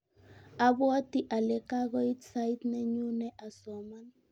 abwatii ale kakoit sait nenyune asoman.